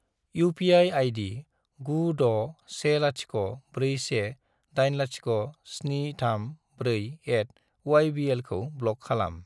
UPI. ID. 96104180734@ybl खौ block खालाम।